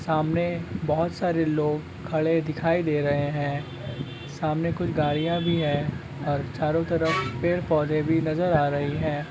सामने बहुत सारे लोग खड़े दिखाई दे रहे हैं सामने कुछ गाड़ियां भी हैं और चारों तरफ पेड़ पौधे भी नजर आ रहे हैं।